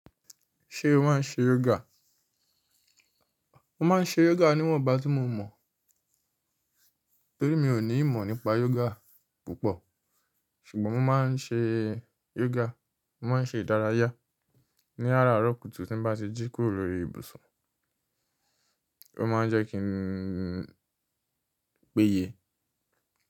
Ṣé o máa ń ṣe yoga? Mo máa ń ṣe yoga níwọ̀nba tí mo mọ̀, torí mi ò ní ìmọ̀ nípa yoga púpọ̀. Ṣùgbọ́n mo máa ń ṣe yoga, mo máa ń ṣe ìdárayá ní àràárọ̀ kùtù tí n bá ti jí kúrò lórí ibùsùn. Ó máa ń jẹ́ kí n pèye.